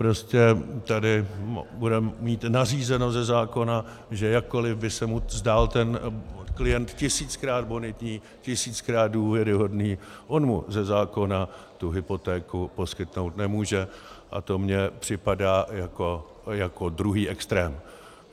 Prostě tady bude mít nařízeno ze zákona, že jakkoli by se mu zdál ten klient tisíckrát bonitní, tisíckrát důvěryhodný, on mu ze zákona tu hypotéku poskytnout nemůže, a to mi připadá jako druhý extrém.